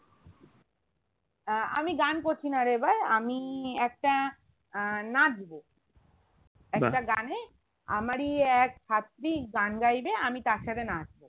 আহ আমি গান করছিনা রে এবার আমি একটা আহ নাচবো একটা গানে আমারই এক ছাত্রী গান গাইবে আমি তার সাথে নাচবো